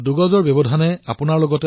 দুই গজৰ দূৰত্ব বৰ্তাই ৰাখক